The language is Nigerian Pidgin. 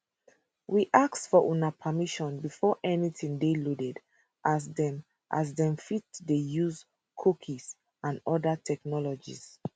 we ask for una permission before anytin dey loaded as dem as dem fit dey use cookies and oda technologies